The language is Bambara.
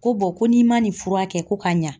Ko ko n'i ma nin fura kɛ ko ka ɲa.